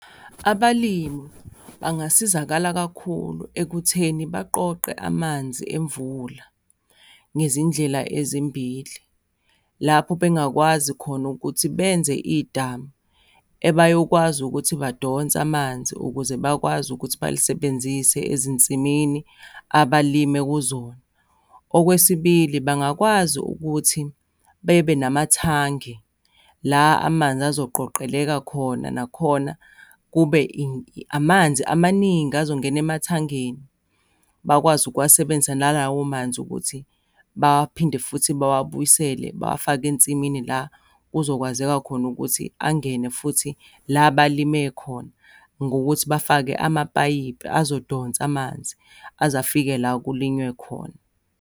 Abalimi bangasizakala kakhulu ekutheni baqoqe amanzi emvula ngezindlela ezimbili, lapho bengakwazi khona ukuthi benze idamu ebayokwazi ukuthi badonse amanzi ukuze bakwazi ukuthi balisebenzise ezinsimini abalime kuzona. Okwesibili, bangakwazi ukuthi bebe namathangi, la amanzi azoqoqeleka khona, nakhona kube amanzi amaningi azongena emathangeni, bakwazi ukuwasebenzisa nalawo manzi ukuthi baphinde futhi bawabuyisele bawafake ensimini la kuzokwazeka khona ukuthi angene futhi la balime khona, ngokuthi bafake amapayipi ezodonsa amanzi aze afike la kulinywe khona.